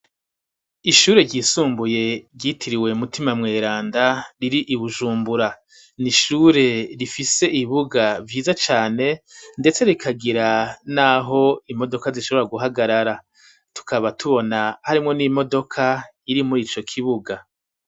Ishure ryisumbuye ryitiriwe mutima mweranda riri ibujumbura ,n’ishure rifise ibibuga vyiza cane ndetse rikagira n'aho imodoka zishobora guhagarara ,tukaba tubona harimwo n'imodoka iri muri ico kibuga.